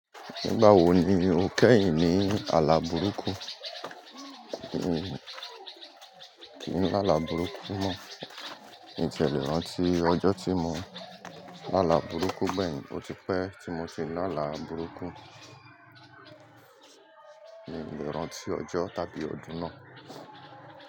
Nígbà wo ni o kẹ́yìn ní àlà burúkú? Kì n lálà burúkú mọ. Mi n tiè lé ránti ọjọ́ tí mo lálà burúkú gbẹ̀yin ó ti pẹ́ tí mo ti lálà burúkú. Mi ò lè rántí ọjọ́ tàbí ọdún náà.